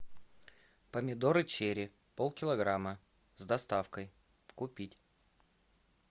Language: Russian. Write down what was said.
помидоры черри полкилограмма с доставкой купить